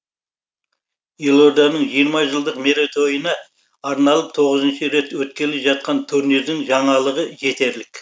елорданың жиырма жылдық мерейтойына арналып тоғызыншы рет өткелі жатқан турнирдің жаңалығы жетерлік